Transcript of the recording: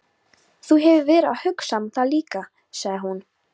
Þú hefur verið að hugsa um það líka, sagði hún.